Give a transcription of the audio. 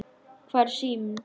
Hvar er síminn?